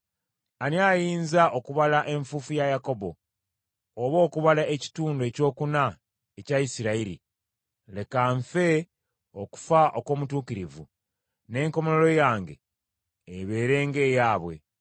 Ani ayinza okubala enfuufu ya Yakobo, oba okubala ekitundu ekyokuna ekya Isirayiri? Leka nfe okufa okw’omutuukirivu, n’enkomerero yange ebeere ng’eyaabwe!”